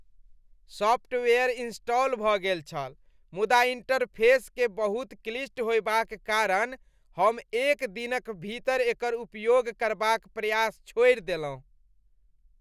Software install भऽ गेल छल मुदा इन्टरफेसकेँ बहुत क्लिष्ट होएबाक कारण हम एक दिनक भीतर एकर उपयोग करबाक प्रयास छोड़ि देलहुँ।